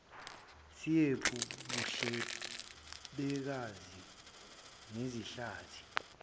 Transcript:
siyephu buhlelembeka nezihlathi